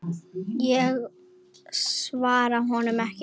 Ég svaraði honum ekki.